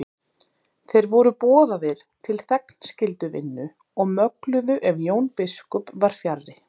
Þeir voru boðaðir til þegnskylduvinnu og mögluðu ef Jón biskup var fjarri.